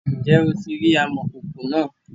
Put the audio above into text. ǹjẹ́ o ti rí amòkòkò náà?